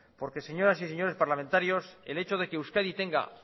porque señoras y señores parlamentarios el hecho de que euskadi tenga